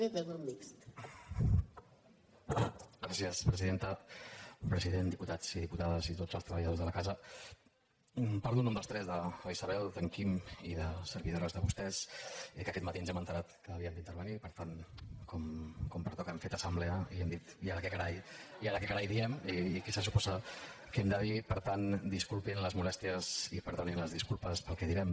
president diputats i diputades i tots els treballadors de la casa parlo en nom dels tres de la isabel d’en quim i de servidores de vostès que aquest matí ens hem assabentat que havíem d’intervenir i per tant com pertoca hem fet assemblea i hem dit i ara què carai diem i què se suposa que hem de dir per tant disculpin les molèsties i perdonin les disculpes pel que direm